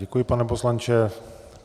Děkuji, pane poslanče.